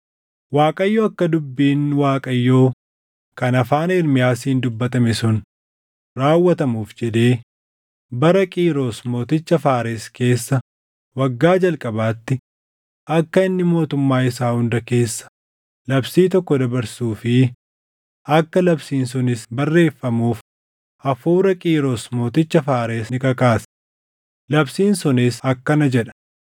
Waaqayyo akka dubbiin Waaqayyoo kan afaan Ermiyaasiin dubbatame sun raawwatamuuf jedhee bara Qiiros mooticha Faares keessa waggaa jalqabaatti akka inni mootummaa isaa hunda keessa labsii tokko dabarsuu fi akka labsiin sunis barreeffamuuf hafuura Qiiros mooticha Faares ni kakaase; labsiin sunis akkana jedha: